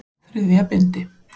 Þriðja bindi.